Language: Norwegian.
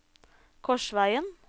Korsvegen